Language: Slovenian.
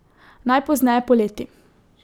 Najpozneje poleti.